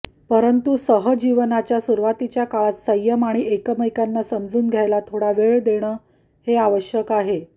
परंतु सहजीवनाच्या सुरुवातीच्या काळात संयम आणि एकमेकांना समजून घ्यायला थोडा वेळ देणं हे आवश्यक आहे